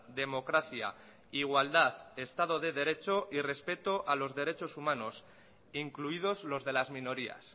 democracia igualdad estado de derecho y respeto a los derechos humanos incluidos los de las minorías